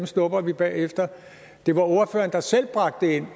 snupper vi bagefter det var ordføreren der selv bragte det ind